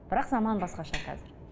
бірақ заман басқаша қазір